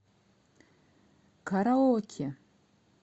караоке